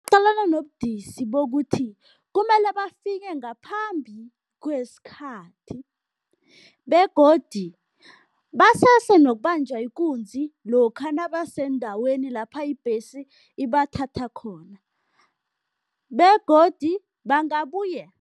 Qalana nobudisi bokuthi kumele bafike ngaphambi kwesikhathi begodu basese nokubanjwa ikunzi lokha nabaseendaweni lapha ibhesi ibathatha khona, begodu bangabuye